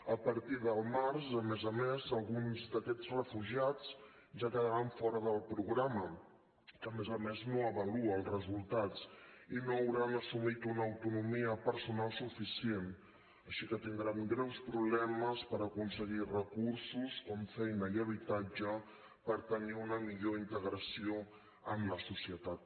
a partir del març a més a més alguns d’aquests refugiats ja quedaran fora del programa que a més a més no avalua els resultats i no hauran assumit una autonomia personal suficient així que tindran greus problemes per aconseguir recursos com feina i habitatge per tenir una millor integració en la societat